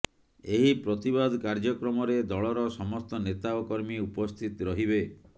ଏହି ପ୍ରତିବାଦ କାର୍ଯ୍ୟକ୍ରମରେ ଦଳର ସମସ୍ତ ନେତା ଓ କର୍ମୀ ଉପସ୍ଥିତ ରହିବେ